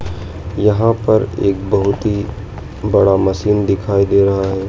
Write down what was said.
यहां पर एक बहुत ही बड़ा मशीन दिखाई दे रहा है।